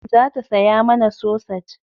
Za ta saya mana sosaj